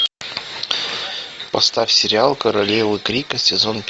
поставь сериал королева крика сезон